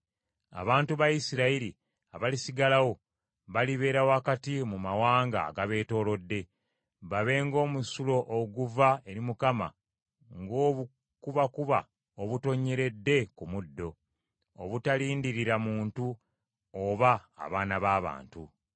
Abantu ba Isirayiri abalisigalawo balibeera wakati mu mawanga agabeetoolodde, babe ng’omusulo oguva eri Mukama , ng’obukubakuba obutonnyeredde ku muddo obutalindirira muntu oba abaana b’abantu.